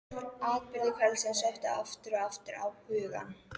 Atburðir kvöldsins sóttu aftur og aftur á hugann.